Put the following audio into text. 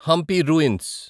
Hampi ruins